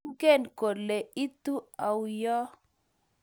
Ingen kole itu auyo?